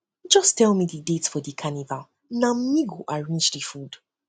just tell me the date for di carnival na me go arrange di food